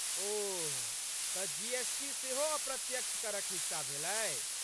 ओह, तऽ जीएसटी सेहो अप्रत्यक्ष करक हिस्सा भेलै?